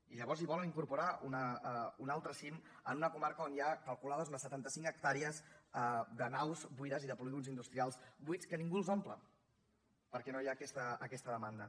i llavors hi volen incorporar un altre cim en una comarca on hi ha calculades unes setanta cinc hectàrees de naus buides i de polígons industrials buits que ningú els omple perquè no hi ha aquesta demanda